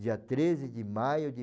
Dia treze de maio de